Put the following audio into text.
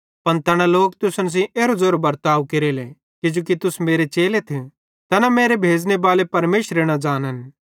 पन तैना लोक तुसन सेइं एरो ज़ेरो बर्ताव केरेले किजोकि तुस मेरे चेलेथ तैना मेरे भेज़ने बाले परमेशरे न ज़ानन्